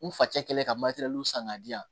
N fa cɛ kɛlen ka san k'a di yan